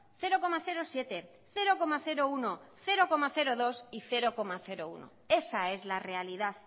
cero coma siete cero coma uno cero coma dos y cero coma uno esa es la realidad